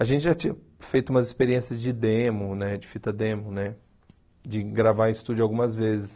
A gente já tinha feito umas experiências de demo, né de fita demo, né de gravar em estúdio algumas vezes.